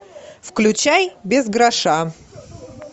включай без гроша